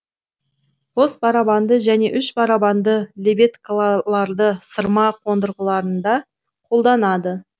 қос барабанды және үш барабанды лебедкаларды сырма қондырғыларында қолданады